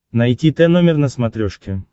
найти тномер на смотрешке